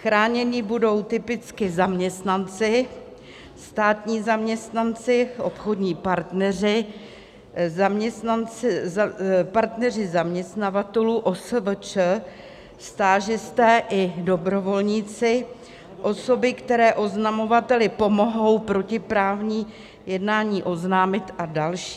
Chráněni budou typicky zaměstnanci, státní zaměstnanci, obchodní partneři, partneři zaměstnavatelů, OSVČ, stážisté i dobrovolníci, osoby, které oznamovateli pomohou protiprávní jednání oznámit, a další.